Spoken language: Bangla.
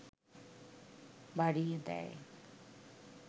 বাড়িয়ে দেয়